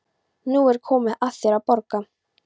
Nú er komið að þér að borga.